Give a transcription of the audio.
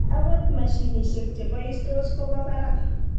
Agot mashinisiek che boistos ko bo barak.